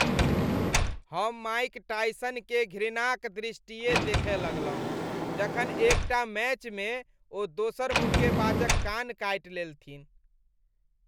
हम Mike Tyson के घृणा क दृष्टिये देखय लगलहुँ जखन एक टा मैच में ओ दोसर मुक्केबाजक कान काटि लेलथिन ।